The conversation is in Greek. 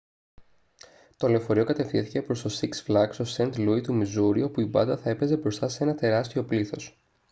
το λεωφορείο κατευθύνθηκε προς το σιξ φλαγκς στο σαιντ λούι του μιζούρι όπου η μπάντα θα έπαιζε μπροστά σε ένα τεράστιο πλήθος